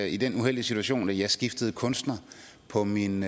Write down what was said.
i den uheldige situation at jeg skiftede kunstner på min